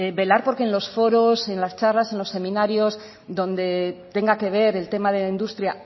velar porque en los foros en las charlas en los seminarios donde tenga que ver el tema de la industria